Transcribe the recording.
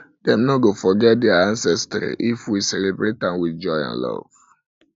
dem no go forget their ancestry if we if we celebrate am with joy and love